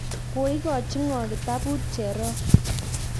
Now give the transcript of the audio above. koikochi ng'o kitabut cherop?